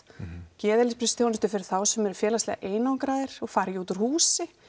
geðheilbrigðisþjónustu fyrir þá sem eru félagslega einangraðir og fara ekki út úr húsi